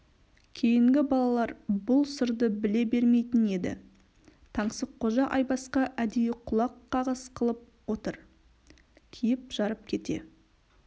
кейінгі балалар бұл сырды біле бермейтін еді таңсыққожа айбасқа әдейі құлақ қағыс қылып отыр киіп-жарып кете